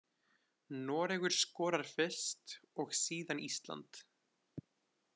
Noregur skorar fyrst og síðan Ísland.